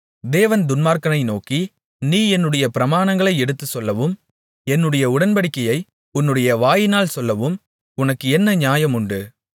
தேவன் துன்மார்க்கனை நோக்கி நீ என்னுடைய பிரமாணங்களை எடுத்துச்சொல்லவும் என்னுடைய உடன்படிக்கையை உன்னுடைய வாயினால் சொல்லவும் உனக்கு என்ன நியாயமுண்டு